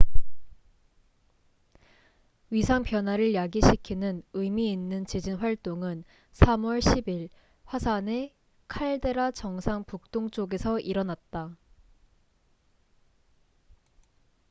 위상 변화를 야기시키는 의미 있는 지진 활동은 3월 10일 화산의 칼데라 정상 북동쪽에서 일어났다